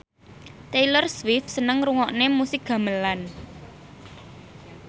Taylor Swift seneng ngrungokne musik gamelan